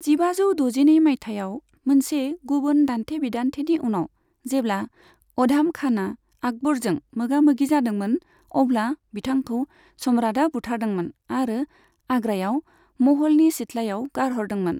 जिबाजौ द'जिनै मायथाइयाव मोनसे गुबुन दान्थे बिदान्थेनि उनाव जेब्ला अधाम खाना आकबरजों मोगा मोगि जादोंमोन, अब्ला बिथांखौ सम्राटआ बुथारदोंमोन आरो आग्रायाव महलनि सिथलायाव गारहरदोंमोन।